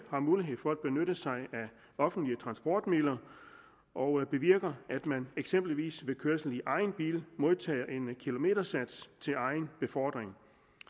offentlige transportmidler og bevirker at man eksempelvis ved kørsel i egen bil modtager en kilometersats til egen befordring